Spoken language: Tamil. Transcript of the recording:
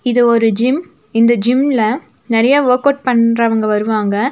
இது ஒரு ஜிம் இந்த ஜிம்ல நெறைய வொர்க் அவுட் பண்றவங்க வருவாங்க.